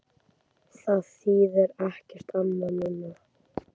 Það þýðir ekkert annað núna.